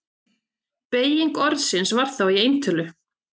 Beyging orðsins var þá í eintölu: